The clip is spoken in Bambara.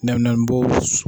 Nɛminɛnpo.